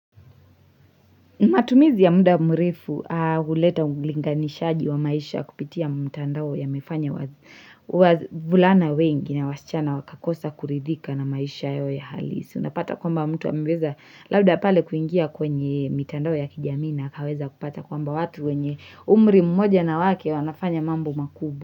Matumizi ya muda murefu huleta ulinganishaji wa maisha kupitia mtandao yamefanya wa wavulana wengi na wasichana wakakosa kuridhika na maisha yao ya halisi. Unapata kwamba mtu ameweza labda pale kuingia kwenye mitandao ya kijamii na akaweza kupata kwamba watu wenye umri mmoja na wake wanafanya mambo makubu.